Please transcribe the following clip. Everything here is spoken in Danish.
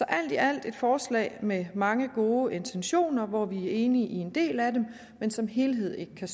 alt er det et forslag med mange gode intentioner hvor vi er enige i en del af dem men som helhed kan